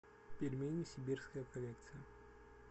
пельмени сибирская коллекция